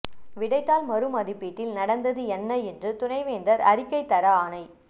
விடைத்தாள் மறுமதிப்பீட்டில் நடந்தது என்ன என்று துணைவேந்தர் அறிக்கை தர ஆணை